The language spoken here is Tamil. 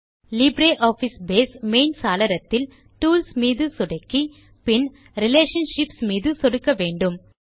லிப்ர் ஆஃபிஸ் பேஸ் மெயின் சாளரத்தில் டூல்ஸ் மீது சொடுக்கி பின் ரிலேஷன்ஷிப்ஸ் மீது சொடுக்க வேண்டும்